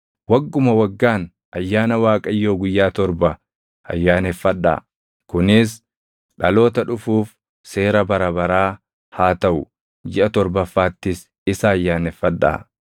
Wagguma waggaan ayyaana Waaqayyoo guyyaa torba ayyaaneffadhaa. Kunis dhaloota dhufuuf seera bara baraa haa taʼu; jiʼa torbaffaattis isa ayyaaneffadhaa.